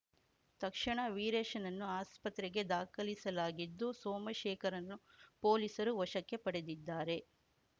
ತಕ್ಷಣ ವೀರೇಶ್‌ನನ್ನು ಆಸ್ಪತ್ರೆಗೆ ದಾಖಲಿಸಲಾಗಿದ್ದು ಸೋಮಶೇಖರ್‌ರನ್ನು ಪೊಲೀಸರು ವಶಕ್ಕೆ ಪಡೆದಿದ್ದಾರೆ